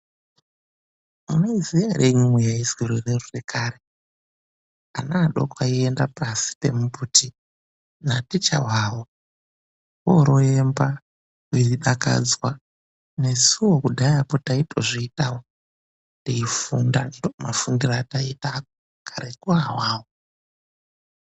Munoiziya ere imwimwi yaizi rure rure kare? Ana adoko aienda pashi pemumbuti naticha wawo oroemba eidakadzwa nesuwo kudhaya taitozviitawo teifunda, ndiwo mafundiro etaiita kareko awawo.